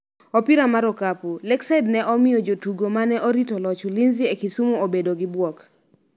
Opira mar okapu: Lakeside ne omiyo jotugo mane orito loch Ulinzi e Kisumu obedo gi bwok